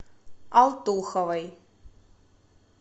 алтуховой